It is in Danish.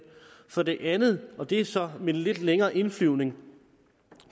for det andet og det er sådan med en lidt længere indflyvning